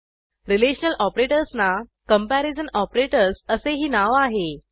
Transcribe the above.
relational ऑपरेटर्सना comparison operators असेही नाव आहे